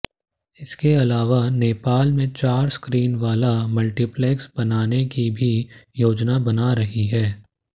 इसके अलावा नेपाल में चार स्क्रीन वाला मल्टीप्लेक्स बनाने की भी योजना बना रही है